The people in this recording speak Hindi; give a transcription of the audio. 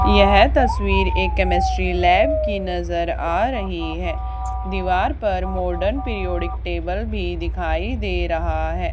यह तस्वीर एक केमिस्ट्री लैब की नजर आ रही है। दीवार पर मॉडर्न प्रिडिक टेबल भी दिखाई दे रहा है।